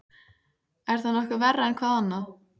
Er það nokkuð verra en hvað annað?